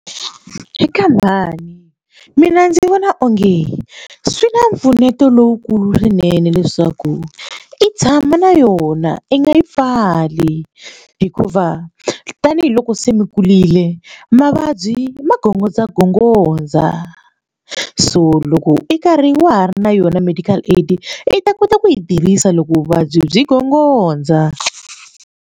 Eka mhani, mina ndzi vona onge swi na mpfuneto lowukulu swinene leswaku i tshama na yona i nga yi pfali hikuva tanihiloko se mi kurile mavabyi magongondzagongondza so loko i karhi wa ha ri na yona medical aid i ta kota ku yi tirhisa loko vuvabyi byi gongondza.